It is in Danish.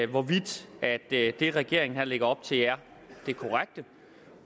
hvorvidt det regeringen her lægger op til er det korrekte